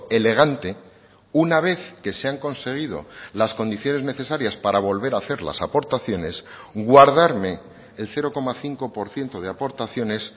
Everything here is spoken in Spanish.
elegante una vez que se han conseguido las condiciones necesarias para volver a hacer las aportaciones guardarme el cero coma cinco por ciento de aportaciones